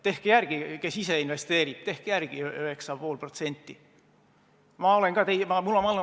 Tehke järele, kes ise investeerib, tehke järele 9,5%!